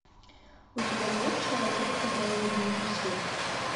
у тебя есть человек который удивил всех